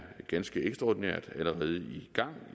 ganske ekstraordinært allerede i gang